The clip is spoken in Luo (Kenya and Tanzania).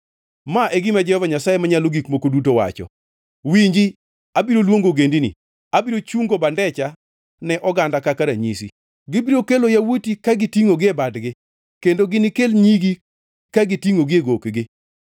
Ma e gima Jehova Nyasaye Manyalo Gik Moko Duto wacho: “Winji, abiro luongo Ogendini, abiro chungo bandecha ne oganda kaka ranyisi, gibiro kelo yawuoti ka gitingʼogi e badgi kendo ginikel nyigi ka gitingʼogi e gokgi.